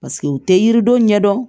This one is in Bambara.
Paseke u tɛ yiridenw ɲɛ dɔn